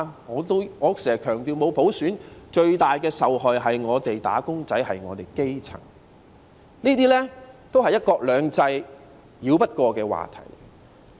我經常強調，沒有普選最大的受害人是"打工仔"和基層市民，這些都是"一國兩制"繞不過的課題。